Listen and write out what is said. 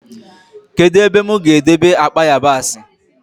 Kedụ ebe mụ ga-edebe akpa yabasị?